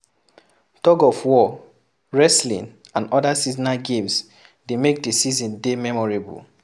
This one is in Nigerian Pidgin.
Thug of war, wrestling and oda seasonal games dey make the season dey memorable